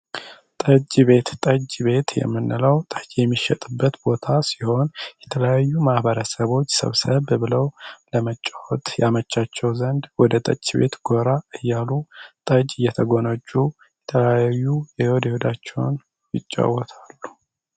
ቤት ጠጅ ቤት የምንለው ጠጅ የሚሸጥበት ቦታ ሲሆን የተለያዩ ማህበረሰቦች ሰብሰብ ብለው ለመጫወት ያመቻቸው ዘንድ ወደ ጠጅ ቤት ጎራ እያሉ ታጅ የተጎናጁዳቸው ይጫወታሉ